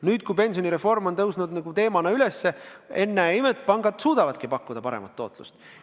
Nüüd, kui pensionireform on teemana üles tõusnud, ennäe imet, pangad suudavadki pakkuda paremat tootlust.